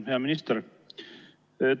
Hea minister!